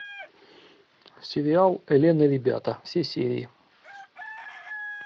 сериал элен и ребята все серии